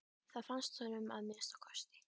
Það fannst honum að minnsta kosti.